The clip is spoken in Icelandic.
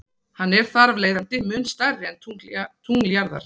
Hann er þarafleiðandi mun stærri en tungl jarðar.